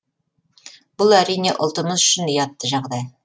бұл әрине ұлтымыз үшін ұятты жағдай